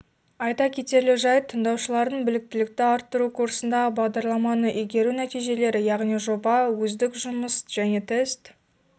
айта кетерлік жайт тыңдаушылардың біліктілікті арттыру курсындағы бағдарламаны игеру нәтижелері яғни жоба өздік жұмыс және тест